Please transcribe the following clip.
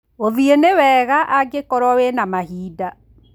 Gũthiĩ nĩ wega angĩkorwo wĩ na mahinda